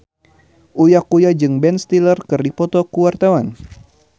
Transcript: Uya Kuya jeung Ben Stiller keur dipoto ku wartawan